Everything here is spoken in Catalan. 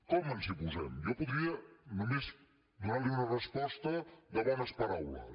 com ens hi posem jo podria només donarli una resposta de bones paraules